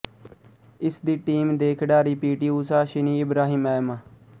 ਇਸ ਦੀ ਟੀਮ ਦੇ ਖਿਡਾਰੀ P T Usha Shiny Ibrahim M